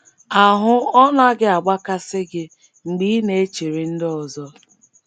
Ahụ́ ọ̀ naghị agbakasị gị mgbe ị na - echere ndị ọzọ?